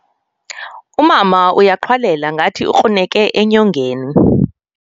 Umama uyaqhwalela ngathi ukruneke enyongeni.